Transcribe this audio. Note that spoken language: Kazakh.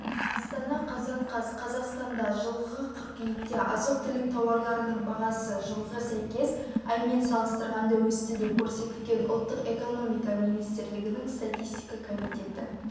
астана қазан қаз қазақстанда жылғы қыркүйекте азық-түлік тауарларының бағасы жылғы сәйкес аймен салыстырғанда өсті деп көрсетілген ұлттық экономика министрлігінің статистика комитеті